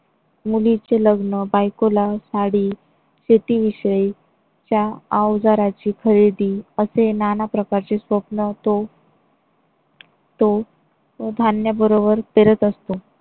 मुलीचे लग्न, बायकोला साडी City विषयीच्या अवजारांची खरेदी असे नाना प्रकारचे स्वप्न तो. तो धान्याबरोबर पेरत असतो.